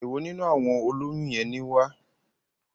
Èwo nínú àwọn olóyún yẹn ni wá?